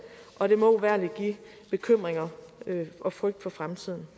og det må uvægerligt give bekymringer og frygt for fremtiden